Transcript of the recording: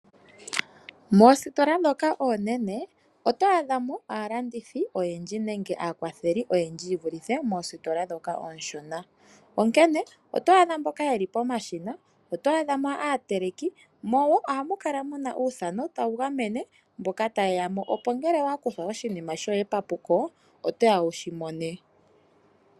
Moositola oonene otwaadhamo aalandithi oyendji yeli pomashina shivulithe moositola ndhoka ooshona, otwadhamo woo aateliki, mo oha mu kala uuthano woku gamena mboka tayeyamo opo ngele yakuthwa iinima yawo epuko otaavulu okwi mona.